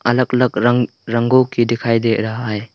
अलग अलग रंगों के दिखाई दे रहा है।